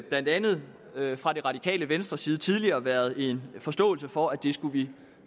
blandt andet fra det radikale venstres side tidligere været en forståelse for at vi skulle